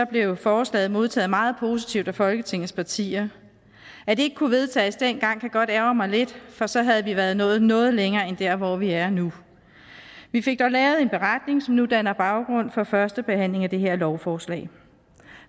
blev forslaget modtaget meget positivt af folketingets partier at det ikke kunne vedtages dengang kan godt ærgre mig lidt for så havde vi været nået noget længere end der hvor vi er nu vi fik dog lavet en beretning som nu danner baggrund for førstebehandlingen af det her lovforslag